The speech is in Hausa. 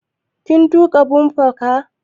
Kin tuƙa bumper car?